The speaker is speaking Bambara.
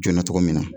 Joona tɔgɔ min na